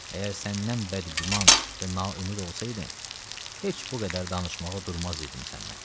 Əgər səndən bəd güman və naümid olsaydım, heç bu qədər danışmağa durmaz idim sənlə.